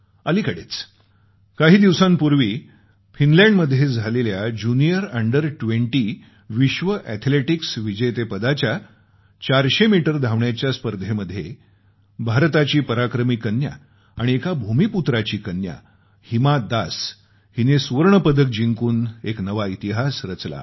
अलिकडेच काही दिवसांपूर्वी फिनलँडमध्ये झालेल्या ज्युनियर अंडर 20 विश्व अॅथेलेटिक्स विजेतेपदाच्या 400 मीटर धावण्याच्या स्पर्धेमध्ये भारताची पराक्रमी कन्या आणि एका भूमीपुत्राची कन्या हिमा दास हिने सुवर्ण पदक जिंकून एक नवा इतिहास घडवला आहे